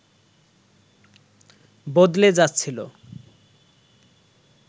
বদলে যাচ্ছিল